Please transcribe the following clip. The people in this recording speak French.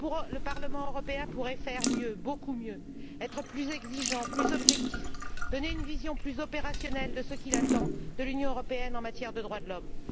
Le Parlement européen pourrait faire mieux, beaucoup mieux, être plus exigeant, plus objectif, donner une vision plus opérationnelle de ce qu'il attend de l'Union en matière de droits de l'homme.